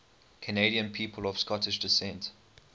canadian people of scottish descent